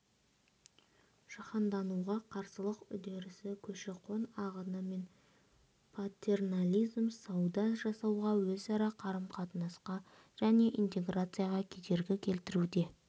жаһандануға қарсылық үдерісі көші-қон ағыны мен патернализм сауда жасауға өзара қарым-қатынасқа және интеграцияға кедергі келтіруде